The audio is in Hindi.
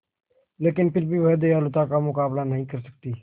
लेकिन फिर भी वह दयालुता का मुकाबला नहीं कर सकती